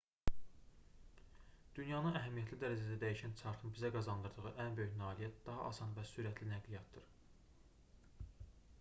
dünyanı əhəmiyyətli dərəcədə dəyişən çarxın bizə qazandırdığı ən böyük nailiyyət daha asan və sürətli nəqliyyatdır